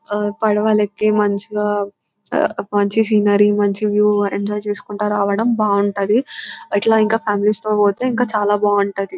అ పడవలెక్కి మంచిగా మంచి సీనరీ మాంచి వ్యూ ఎంజాయ్ చేసుకుంటా రావడం బాగుంటది. అట్లా ఇంకా కుటుంబాలు తో పోతే ఇంకా చాల బాగుంటది.